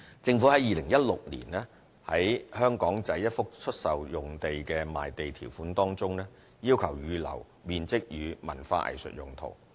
在2016年，政府於香港仔一幅出售用地的賣地條款中要求預留面積予文化藝術用途。